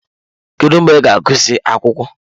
Kedu mgbe ị ga-agụsị akwụkwọ?